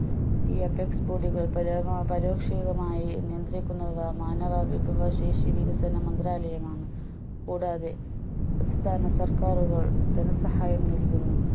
ഈ apex board കൾ പരമ പരോക്ഷികമായി നിയന്ത്രിക്കുന്നത് മാനവ വിഭവ ശേഷി വികസന മന്ത്രാലയമാണ് കൂടാതെ സംസ്ഥാന സർക്കാറുകൾ ധനസഹായം നൽകുന്നു